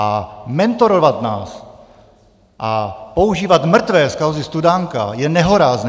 A mentorovat nás a používat mrtvé z kauzy Studánka je nehorázné!